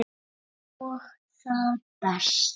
Borðar Helgi steikt slátur?